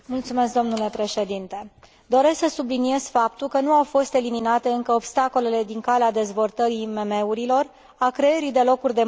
Doresc să subliniez faptul că nu au fost eliminate încă obstacolele din calea dezvoltării IMM urilor, a creării de locuri de muncă și a inovației în Europa.